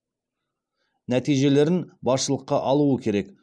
нәтижелерін басшылыққа алуы керек